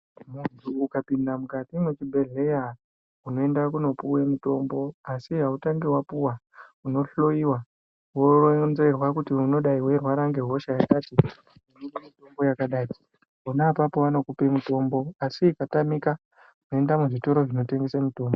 Muntu ukapinda mukati mezvibhedhleya unoende kunopuva mutombo. Asi hautangi vapuva unohloiwa voronzerwa kuti unodai veirwara ngehosha yakati. Unopuva mutombo yakadai pona apapo vanokupe mutombo asi ukatamika unoende muzvitoro zvinotengese mitombo.